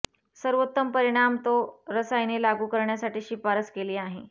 सर्वोत्तम परिणाम तो रसायने लागू करण्यासाठी शिफारस केली आहे